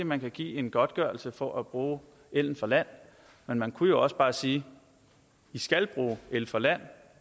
man kan give en godtgørelse for at bruge el fra land men man kunne også bare sige i skal bruge el fra land